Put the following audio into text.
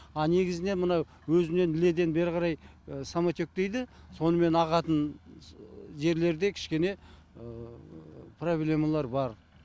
а негізінен мына өзінен іледен бері қарай самотек дейді сонымен ағатын жерлерде кішкене проблемалар бар